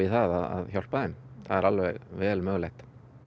að hjálpa þeim það er alveg vel mögulegt